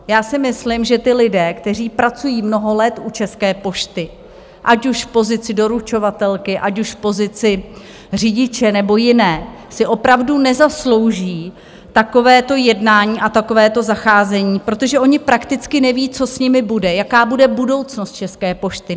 Já si myslím, že ti lidé, kteří pracují mnoho let u České pošty, ať už v pozici doručovatelky, ať už v pozici řidiče nebo jiné, si opravdu nezaslouží takovéto jednání a takovéto zacházení, protože oni prakticky neví, co s nimi bude, jaká bude budoucnost České pošty.